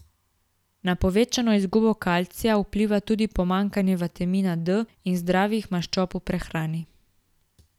Na povečano izgubo kalcija vpliva tudi pomanjkanje vitamina D in zdravih maščob v prehrani.